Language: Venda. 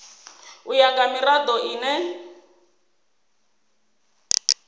u ya nga mirado ine